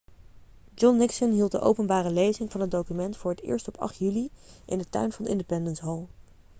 john nixon hield de openbare lezing van het document voor het eerst op 8 juli in de tuin van independence hall